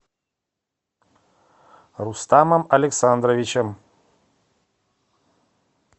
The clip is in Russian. рустамом александровичем